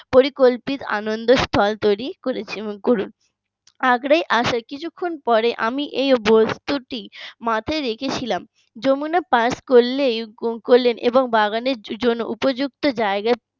পরিকল্পিত আনন্দের স্থল তৈরি করুন আগ্রায় আসার কিছুক্ষণের পরে আমি এই বস্তুটি মাথায় রেখে ছিলাম। যমুনা পাস করলেই এবং বাগানের জন্য উপযুক্ত জায়গায়